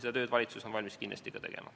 Seda tööd on valitsus valmis kindlasti ka tegema.